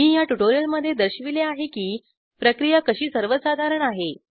मी ह्या ट्युटोरियलमध्ये दर्शविले आहे की प्रक्रिया कशी सर्वसाधारण आहे